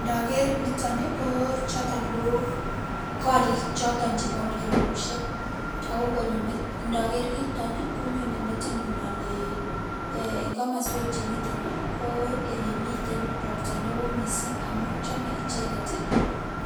ndoger niton koo koriik choton chebo myelegusyeek ago ndogeer kiiton konyone metinyuun olee en komosweek chemiten iih ko olemiten ropta neoo mising omuun chome icheget iih